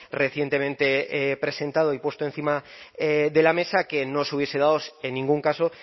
recientemente presentado y puesto encima de la mesa que no se hubiese dado en ningún caso